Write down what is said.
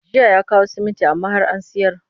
Jiya ya kawo siminti amma har an sayar